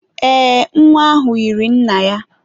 Ee, nwa ahụ yiri nna ya.